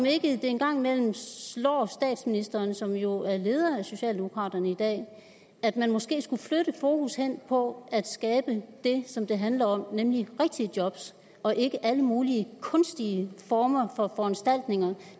ikke en gang imellem slår statsministeren som jo er leder af socialdemokraterne i dag at man måske skulle flytte fokus hen på at skabe det som det handler om nemlig rigtige job og ikke alle mulige kunstige former for foranstaltninger